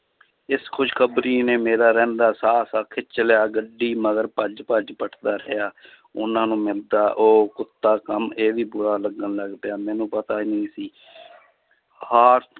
ਇਸ ਖ਼ੁਸ਼ਖਬਰੀ ਨੇ ਮੇਰਾ ਰਹਿੰਦਾ ਸਾਹ ਸਾਹ ਖਿੱਚ ਲਿਆ ਗੱਡੀ ਮਗਰ ਭੱਜ ਭੱਜ ਪਿੱਟਦਾ ਰਿਹਾ ਉਹਨਾਂ ਨੂੰ ਮਿੰਨਤਾਂ ਉਹ ਕੁੱਤਾ ਕੰਮ ਇਹ ਵੀ ਬੁਰਾ ਲੱਗਣ ਲੱਗ ਪਿਆ, ਮੈਨੂੰ ਪਤਾ ਹੀ ਨੀ ਸੀ